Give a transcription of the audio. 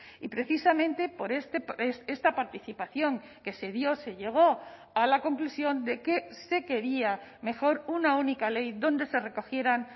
y precisamente por esta participación que se dio se llegó a la conclusión de que se quería mejor una única ley donde se recogieran